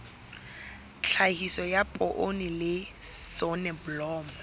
tlhahiso ya poone le soneblomo